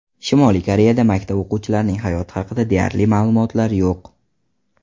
Shimoliy Koreyada maktab o‘quvchilarining hayoti haqida deyarli ma’lumotlar yo‘q.